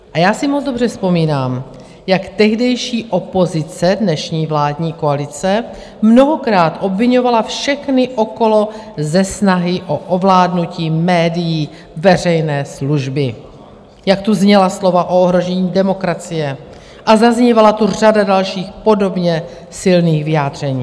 A já si moc dobře vzpomínám, jak tehdejší opozice, dnešní vládní koalice, mnohokrát obviňovala všechny okolo ze snahy o ovládnutí médií veřejné služby, jak tu zněla slova o ohrožení demokracie a zaznívala tu řada dalších podobně silných vyjádření.